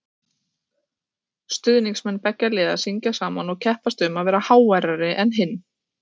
Stuðningsmenn beggja liða syngja saman og keppast um að vera háværari en hinn.